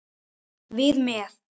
Við með.